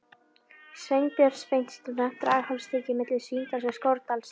Sveinbjörns Beinteinssonar, Draghálsi milli Svínadals og Skorradals í